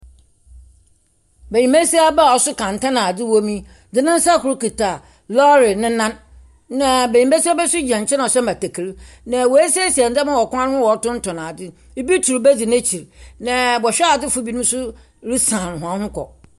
Mbɛsiaba a ɔso kɛntɛn na adze wɔ mu de ne nsa koro kuta lɔre ne nan. Na mbɛsiaba nso gyina nkyɛn a ɔso mmatakari. Na wasiesie nneɛma wɔ kwan ho a ɔtontɔn ade. Ɔbi turu ba di nakyi. Na bɛhwɛdefo bi nso resan wɔn ho kɔ.